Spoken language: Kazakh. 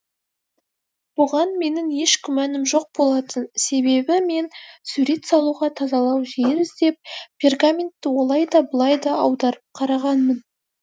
бұған менің еш күмәнім жоқ болатын себебі мен сурет салуға тазалау жер іздеп пергаментті олай да былай да аударып қарағанмын